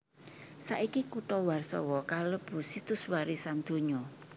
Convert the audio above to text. Saiki kutha Warsawa kalebu Situs Warisan Donya